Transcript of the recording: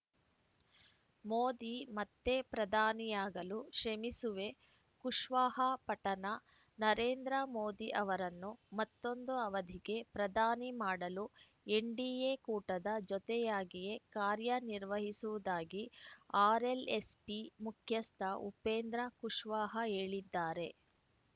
ಮೋದಿ ಮತ್ತೆ ಪ್ರಧಾನಿಯಾಗಲು ಶ್ರೇಮಿಸುವೆ ಕುಶ್ವಾಹಾ ಪಟನಾ ನರೇಂದ್ರ ಮೋದಿ ಅವರನ್ನು ಮತ್ತೊಂದು ಅವಧಿಗೆ ಪ್ರಧಾನಿ ಮಾಡಲು ಎನ್‌ಡಿಎ ಕೂಟದ ಜೊತೆಯಾಗಿಯೇ ಕಾರ್ಯ ನಿರ್ವಹಿಸುವುದಾಗಿ ಆರ್‌ಎಲ್‌ಎಸ್‌ಪಿ ಮುಖ್ಯಸ್ಥ ಉಪೇಂದ್ರ ಕುಶ್ವಾಹಾ ಹೇಳಿದ್ದಾರೆ